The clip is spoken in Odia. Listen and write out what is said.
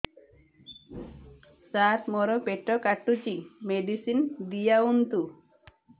ସାର ମୋର ପେଟ କାଟୁଚି ମେଡିସିନ ଦିଆଉନ୍ତୁ